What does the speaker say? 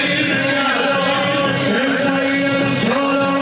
Heydər, Heydər, Hüseyn, Seyyid!